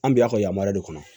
An bi y'a ka yamaruya de kɔnɔ